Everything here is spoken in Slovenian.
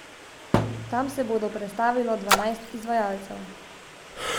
Tam se bodo predstavilo dvanajst izvajalcev.